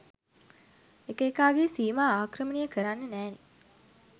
එක එකාගේ සීමා ආක්‍රමණය කරන්න නෑනේ.